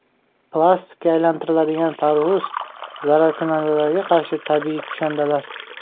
Plastikka aylantiriladigan tarvuz, zararkunandalarga qarshi tabiiy kushandalar.